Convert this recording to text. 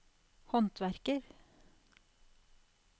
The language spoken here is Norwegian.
håndverker